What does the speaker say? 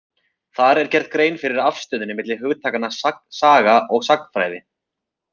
Þar er gerð grein fyrir afstöðunni milli hugtakanna saga og sagnfræði.